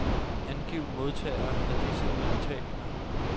Angiv modtagere af disse udbetalinger.